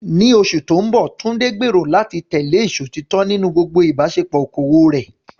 Ní oṣù tó ń bọ̀, Tunde gbèrò láti tẹ̀lé ìṣòtítọ́ nínú gbogbo ìbáṣepọ̀ okòwò rẹ̀.